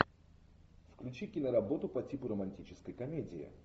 включи киноработу по типу романтической комедии